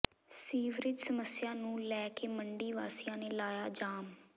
sewerage ਸਮੱਸਿਆ ਨੂੰ ਲੈ ਕੇ ਮੰਡੀ ਵਾਸੀਆਂ ਨੇ ਲਾਇਆ ਜਾਮ